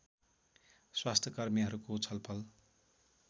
स्वास्थ्यकर्मीहरूको छलफल